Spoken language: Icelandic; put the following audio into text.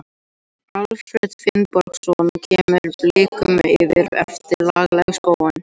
Alfreð Finnbogason kemur Blikum yfir eftir laglega sókn.